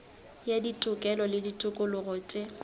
ya ditokelo le ditokologo tše